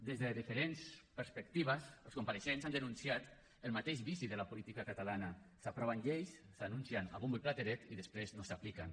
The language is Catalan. des de diferents perspectives els compareixents han denunciat el mateix vici que la política catalana s’aproven lleis s’anuncien a bombo i platerets i després no s’apliquen